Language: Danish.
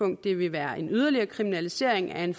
det vil være en yderligere kriminalisering af en